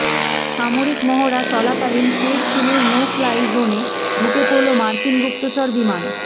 সামরিক মহড়া চলাকালীন ফের চিনের নো ফ্লাই জোনে ঢুকে পড়ল মার্কিন গুপ্তচর বিমান